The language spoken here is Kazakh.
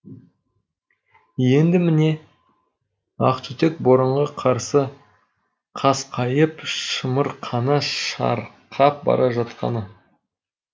енді міне ақтүтек боранға қарсы қасқайып шамырқана шырқап бара жатқаны